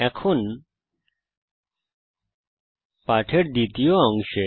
এখন পাঠের দ্বিতীয় অংশে